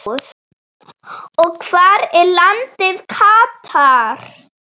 og Hvar er landið Katar?